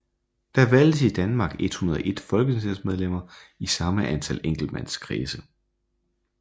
Der valgtes i Danmark 101 folketingsmedlemmer i samme antal enkeltmandskredse